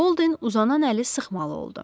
Bolde uzanan əli sıxmalı oldu.